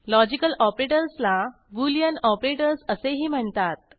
logical ऑपरेटर्सला Boolean operators असेही म्हणतात